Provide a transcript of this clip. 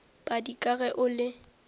padi ka ge o le